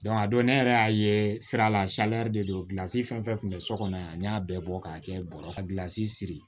a don ne yɛrɛ y'a ye sira la de do gilansi fɛn fɛn kun be so kɔnɔ yan n y'a bɛɛ bɔ k'a kɛ bɔrɔ ka gilasi siri